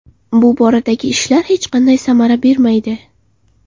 Bu boradagi ishlar hech qanday samara bermaydi.